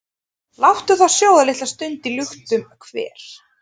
Láttu þá sjóða litla stund í luktum hver,